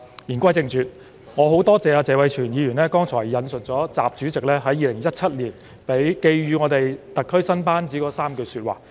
言歸正傳，我很感謝謝偉銓議員剛才引述了習主席在2017年寄語特區新班子的3句說話。